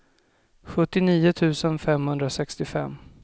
sjuttionio tusen femhundrasextiofem